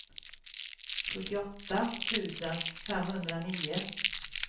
sjuttioåtta tusen femhundranio